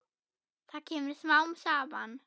Það kemur smám saman.